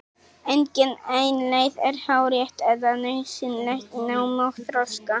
Engin ein leið er hárrétt eða nauðsynleg í námi og þroska.